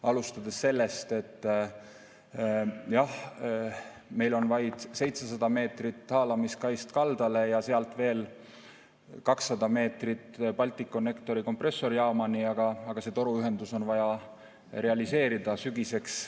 Alustades sellest, et jah, meil on vaid 700 meetrit haalamiskaist kaldale ja sealt veel 200 meetrit Balticconnectori kompressorijaamani, aga see toruühendus on vaja realiseerida sügiseks.